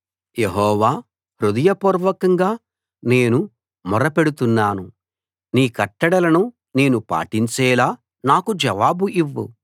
యెహోవా హృదయపూర్వకంగా నేను మొర్ర పెడుతున్నాను నీ కట్టడలను నేను పాటించేలా నాకు జవాబు ఇవ్వు